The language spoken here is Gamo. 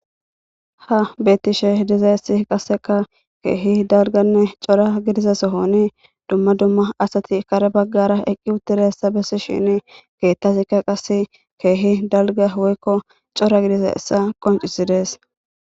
ha bettishe dizayssi qasseka keehi dalganne cora gidisa sohoni dumma dumma asati kare baggara eqqi uttiressa bessi shini keettasikka qase keehi dalga woykko cora gidisa essa qoncisides